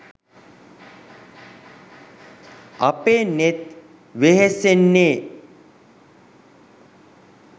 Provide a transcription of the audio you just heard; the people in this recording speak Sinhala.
අපේ නෙත් වෙහෙසෙන්නේ